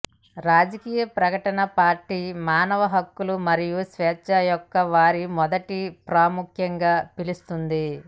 రాజకీయ ప్రకటన పార్టీ మానవ హక్కులు మరియు స్వేచ్ఛ యొక్క వారి మొదటి ప్రాముఖ్యంగా పిలుస్తుంది